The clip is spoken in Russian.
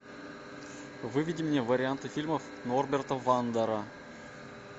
выведи мне варианты фильмов норберта вандера